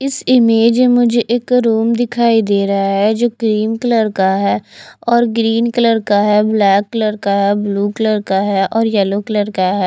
इस इमेज में मुझे एक रूम दिखाई देरा है जो क्रीम कलर का है और ग्रीन कलर का है ब्लैक कलर है ब्लू कलर है और येलो कलर है।